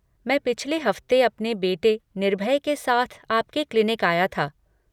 मैं पिछले हफ़्ते अपने बेटे निर्भय के साथ आपके क्लिनिक आया था।